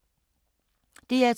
DR2